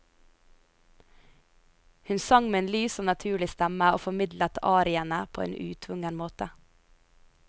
Hun sang med en lys og naturlig stemme og formidlet ariene på en utvungen måte.